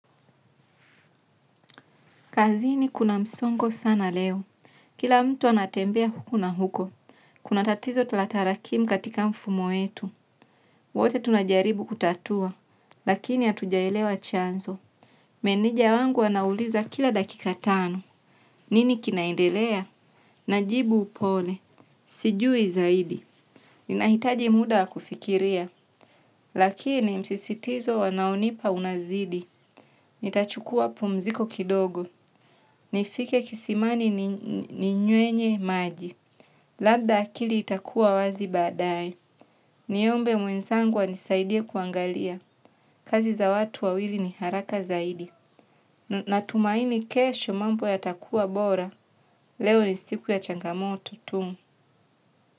Kazini kuna msongo sana leo. Kila mtu anatembea huku na huko. Kuna tatizo la tarakimu katika mfumo wetu. Wote tunajaribu kutatua. Lakini hatujaelewa chanzo. Meneja wangu anauliza kila dakika tano. Nini kinaendelea? Najibu upole. Sijui zaidi. Ninahitaji muda wa kufikiria. Lakini msisitizo wanaonipa unazidi. Nitachukua pumziko kidogo. Nifike kisimani ninywe maji. Labda akili itakuwa wazi baadae. Niombe mwenzangu anisaidie kuangalia. Kazi za watu wawili ni haraka zaidi. Natumaini kesho mambo yatakua bora. Leo ni siku ya changamoto tu.